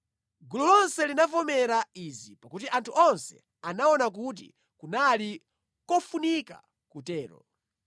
Gulu lonse linavomereza izi, pakuti anthu onse anaona kuti kunali kofunika kutero.